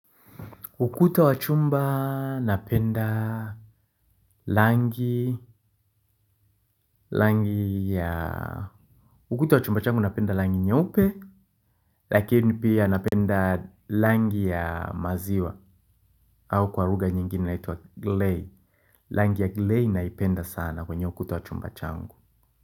Ukuta wa chumba napenda langi, langi ya, ukuta wa chumba changu napenda langi nyeupe, lakini pia napenda langi ya maziwa, au kwa lugha nyingine inaitwa glei, langi ya glei naipenda sana kwenye ukuta wa chumba changu.